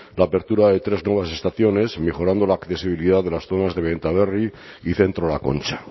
la apertura de tres nuevas estaciones mejorando la accesibilidad de las zonas de benta berri y centro la concha